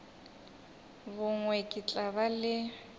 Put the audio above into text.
bongwe ke tla ba le